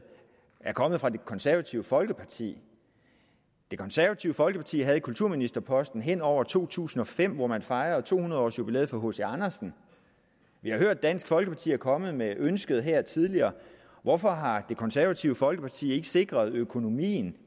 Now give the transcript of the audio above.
er kommet fra det konservative folkeparti det konservative folkeparti havde kulturministerposten hen over to tusind og fem hvor man fejrede to hundrede års jubilæet for hc andersen og vi har hørt at dansk folkeparti er kommet med ønsket her tidligere hvorfor har det konservative folkeparti ikke sikret at økonomien